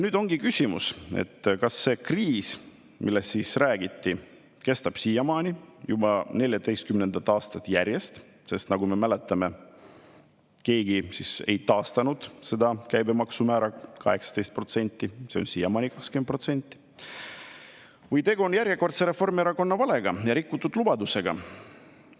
Nüüd ongi küsimus, kas see kriis, millest siis räägiti, kestab siiamaani, juba 14. aastat järjest – sest nagu me mäletame, keegi ei taastanud käibemaksu määra 18%, see on siiamaani 20% –, või on tegu järjekordse Reformierakonna valega ja rikutud lubadusega.